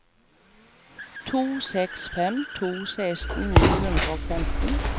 to seks fem to seksten ni hundre og femten